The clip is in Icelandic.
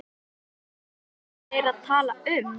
Hvað eru þeir að tala um?